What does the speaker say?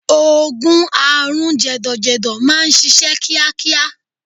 Oògùn àrùn jẹ̀dọ̀jẹ̀dọ̀ máà ń ṣiṣẹ́ kíákíá.